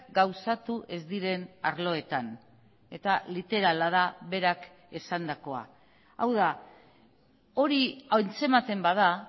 gauzatu ez diren arloetan eta literala da berak esandakoa hau da hori antzematen bada